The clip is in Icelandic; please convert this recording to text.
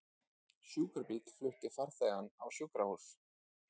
Sjúkrabíll flutti farþegann á sjúkrahús